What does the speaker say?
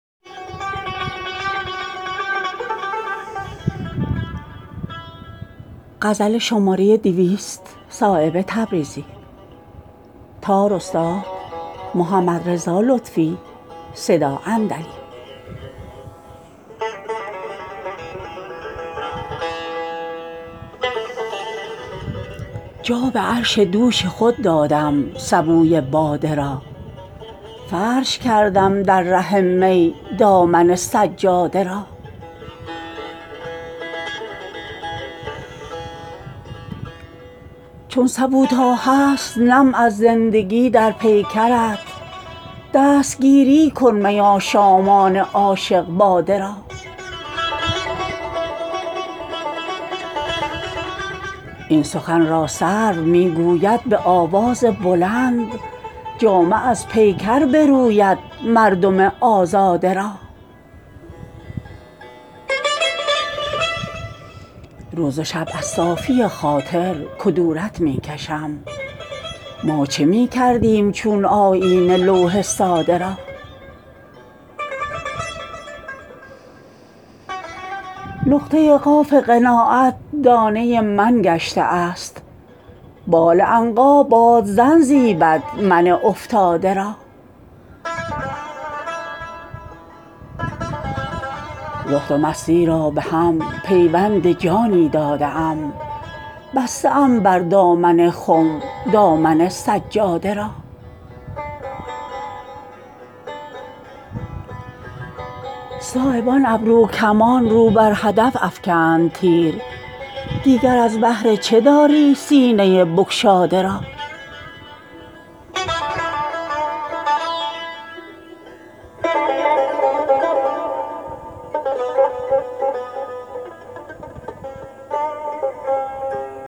جا به عرش دوش خود دادم سبوی باده را فرش کردم در ره می دامن سجاده را چون سبو تا هست نم از زندگی در پیکرت دستگیری کن می آشامان عاشق باده را این سخن را سرو می گوید به آواز بلند جامه از پیکر بروید مردم آزاده را روز و شب از صافی خاطر کدورت می کشم ما چه می کردیم چون آیینه لوح ساده را نقطه قاف قناعت دانه من گشته است بال عنقا بادزن زیبد من افتاده را زهد و مستی را به هم پیوند جانی داده ام بسته ام بر دامن خم دامن سجاده را صایب آن ابرو کمان رو بر هدف افکند تیر دیگر از بهر چه داری سینه بگشاده را